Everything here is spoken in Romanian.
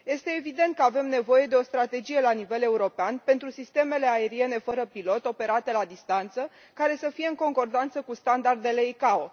Este evident că avem nevoie de o strategie la nivel european pentru sistemele aeriene fără pilot operate la distanță, care să fie în concordanță cu standardele ICAO.